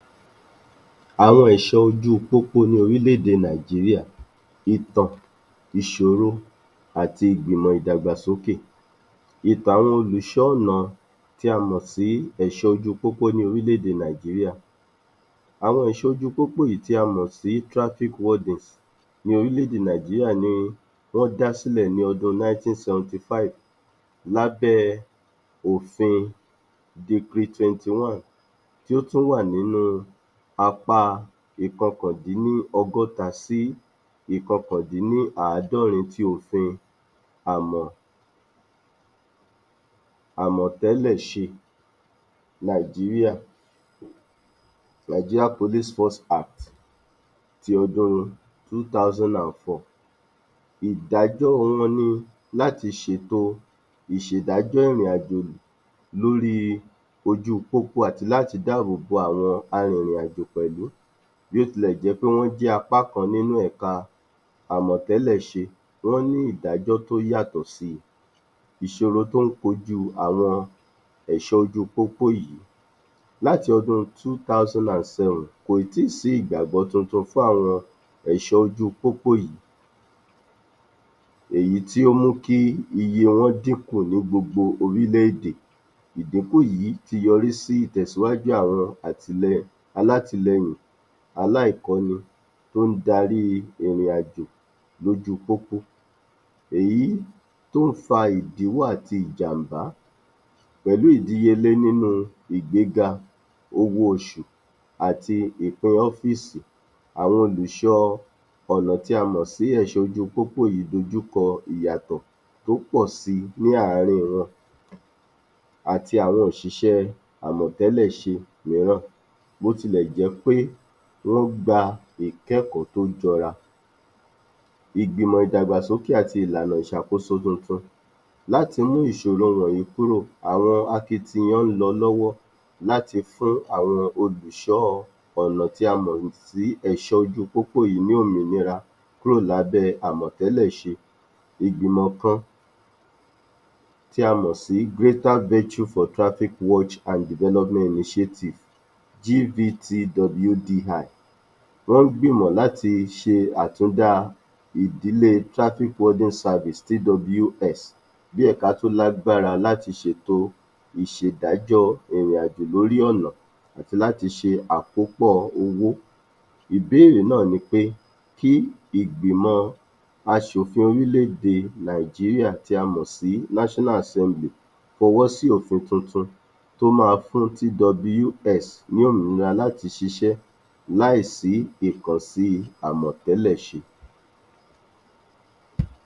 Àwọn ẹ̀ṣọ́ ojú pópó ní orílẹ̀-èdè Nàìjíríà, Ìtàn, ìṣòro àti ìgbìmọ̀ ìdàgbàsókè. Ìtàn àwọn olùṣọ́ ọ̀nà tí a mọ̀ sí ẹ̀ṣọ́ ojú-pópó ní orílẹ̀-èdè Nàìjíríà, àwọn ẹ̀ṣọ́ ojú-pópó yìí tí a mọ̀ sí traffic wardens ní orílẹ̀-èdè Nàìjíríà ni wọ́n dá sílẹ̀ ní ọdún 1975 lábé òfin Decree 21 tí ó tún wà nínú apá ókandínlọ́gọ́ta sí ókandínláàdọ́rin ti òfin àmọ̀tẹ́lẹ̀ ṣe Nàìjíríà[Nigeria Police Force Acts] ti ọdún 2004. Ìdájọ́ wọn ni láti ṣètò ìṣèdájọ́ ìrìnàjò ìlú lóri ojú pópó àti láti dábòbò àwọn arìrìnàjò pẹ̀lú. Bó ti lẹ̀ jẹ́ pé wọ́n jẹ́ apá kan nínú ẹ̀ka àmọ̀tẹ́lẹ̀-ṣe, wọ́n ní ìdájọ́ tó yàtọ̀ si. Ìṣòro tó ń dojú kọ àwọn ẹ̀ṣọ́ ojú pópó yìí láti ọdún 2007, kò ì tí sí ìgbàgbọ́ tuntun fún àwọn ẹ̀ṣọ́ ojú pópó yìí, èyí tí ó mú kí iye wọn dínkù ní gbogbo orílẹ̀-èdè. Ìdínkù yìí ti yọrí sí ìtẹ̀síwájú àwọn alátìlẹyìn aláìkọ́ni tó ń darí ìrìn-àjò lójú pópó, èyí tó ń fa ìdíwọ́ àti ìjàm̀bá pẹ̀lú ìdíyẹlé nínú ìgbega owó-oṣù àti ìpè ọ́fìsì. Àwọn olùṣọ́ ọ̀nà tí a mọ̀ sí ẹ̀ṣọ̀ ojú-pópó yìí dojúkọ ìyàtọ̀ tó pọ̀si láàrin wọn àti àwọn òṣìṣẹ́ àmọ̀tẹ́lẹ̀-ṣe, bótilẹ̀ jẹ́ pé wọ́ gba ìkẹ́kọ̀ọ́ tó jọra. Ìgbìmọ̀ ìdàgbàsókè àti ìlànà ìṣàkoso tuntun láti mú ìṣoro wọ̀nyí kúrò, àwọn akitiyan ń lọ lọ́wọ́ láti fún àwọn olùṣọ́ ọ̀nà tí a mọ̀ sí ẹ̀ṣọ̀ ojú pópó yìí ní òmìnira kúrò lábé àmọ̀tẹ́lẹ̀-ṣe. Ìgbìmọ̀ kan tí a mọ̀ sí Greater Virtue for Traffic Watch and Development Initiative[GVTWDI], wọ́n gbìmọ̀ láti ṣe àtúndá ìdílé Traffic Warden Service[TWS] bí ẹ̀ka tó lágbára láti ṣe ètò ìṣèdájọ́ ìrìnàjò lórí ọ̀nà àti láti ṣe àkópọ̀ owó. Ìbèèrè náà ni pé, kí ìgbìmọ̀ aṣòfin orílẹ̀-èdè Nàìjíríà tí a mọ̀ sí National Assembly fọwọ́ sí òfin tuntun tó máa fún TWS ní òmìnira láti ṣiṣẹ́ láì sí ìkùnsí àmọ̀tẹ́lẹ̀-ṣe.